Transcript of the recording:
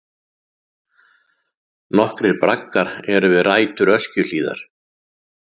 Nokkrir braggar eru við rætur Öskjuhlíðar.